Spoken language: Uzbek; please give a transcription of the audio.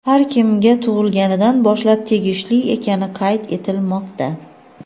har kimga tug‘ilganidan boshlab tegishli ekani qayd etilmoqda.